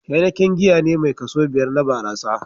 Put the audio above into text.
Heineken giya ne mai kaso biƴar na barasa.